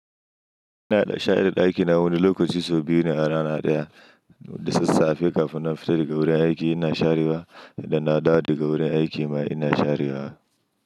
Ina da share ɗakina wani lokaci sau biyu ne a rana ɗaya, da sassafe kafin na fita daga wurin aiki ina sharewa, da na dawo daga wurin aiki ma ina sharewa.